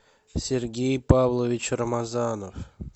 сергей павлович рамазанов